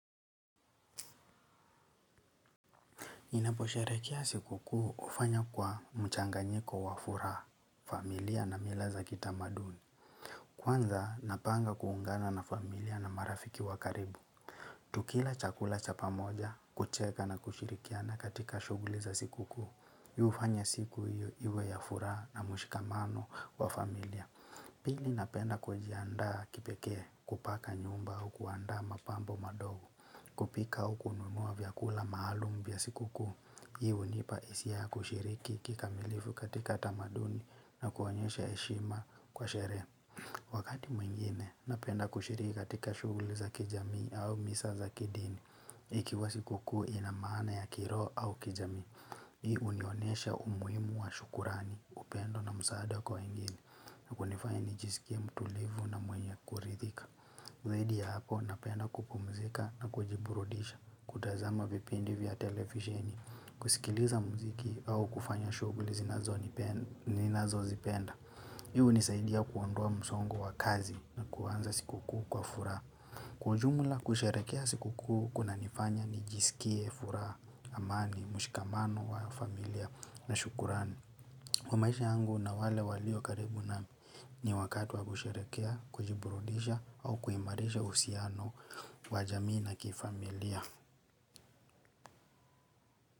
Ninaposherehekea siku kuu hufanya kwa mchanganyiko wa furaha, familia na mila za kitamaduni. Kwanza napanga kuungana na familia na marafiki wa karibu. Tukila chakula cha pamoja, kucheka na kushirikiana katika shughuli za siku kuu hufanya siku hii iwe ya furaha na mshikamano wa familia. Pili napenda kujiandaa kipekee kupaka nyumba au kuandaa mapambo madogo kupika au kununua vyakula maalum vya siku kuu, hii hunipa hisia ya kushiriki kikamilifu katika tamaduni na kuonyesha heshima kwa sherehe. Wakati mwingine napenda kushiriki katika shughuli za kijamii au misa za kidini ikiwa siku kuu ina maana ya kiroho au kijamii. Hii hunionyesha umuhimu wa shukrani, upendo na msaada kwa wengine na kunifanya nijisikie mtulivu na mwenye kuridhika. Zaidi ya hapo napenda kupumzika na kujiburudisha, kutazama vipindi vya televizieni, kusikiliza muziki au kufanya shughuli ninazozipenda. Hii hunisaidia kuondoa msongo wa kazi na kuanza siku kuu kwa furaha. Kwa ujumula kusherehekea siku kuu kunanifanya nijisikie furaha, amani, mshikamano wa familia na shukurani. Kwa maisha yangu na wale walio karibu nami. Ni wakati wa kusherehekea, kujiburudisha au kuimarisha uhusiano wa jamii na kifamilia.